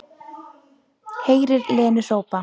Heyrir Lenu hrópa